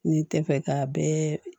N'i tɛ fɛ ka bɛɛ